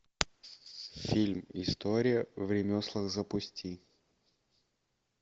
фильм история в ремеслах запусти